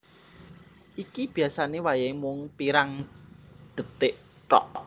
Iki biasane wayahe mung pirang detik thok